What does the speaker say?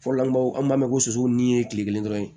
Fɔlɔla an b'aw b'a mɛn ko su ni ye tile kelen dɔrɔn ye